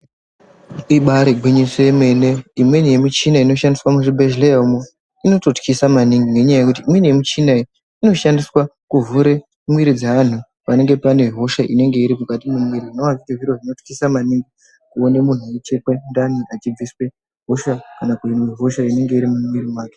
Ibaari gwinyiso yemene imweni yemichina inoshandiswa muzvibhehleya umu inototyisa maningi nenyaya yekuti imweni yemichina iyi inoshandiswa kuvhure mwiiri dzeanhu panenge panehosha inenge iri mukati memwiiri zvinova zviri zviro zvinotyisa maningi kuone muntu achichekwe ndani achibviswe hosha kana hosha inenge iri mumwiri make.